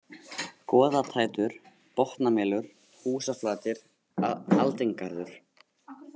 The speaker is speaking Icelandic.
Goðatættur, Botnamelur, Húsaflatir, Aldingarður